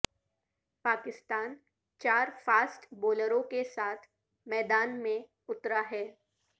پاکستان چار فاسٹ بولروں کے ساتھ میدان میں اترا ہے